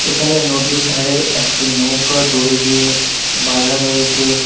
এখানে নদীর ধারে একটি নৌকা দড়ি দিয়ে বাধা রয়েছে।